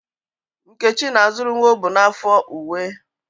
Nkechi na-azụrụ nwa o bu n'afọ uwe